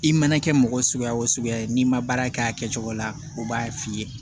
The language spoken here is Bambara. I mana kɛ mɔgɔ suguya o suguya ye n'i ma baara kɛ a kɛcogo la u b'a f'i ye